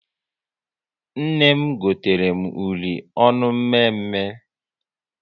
Nne m gotere m uri ọnụ mme mme